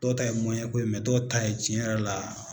Dɔw ta ye dɔw ta ye cɛn yɛrɛ la